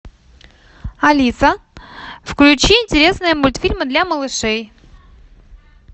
алиса включи интересные мультфильмы для малышей